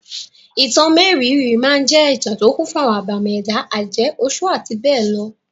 Ìtàn mérìíìírí máa jẹ́ ìtà tó kún fún àwọn ẹbàmì ẹ̀dá, àjẹ́, oṣọ́ àti bẹ́ẹ̀ lọ.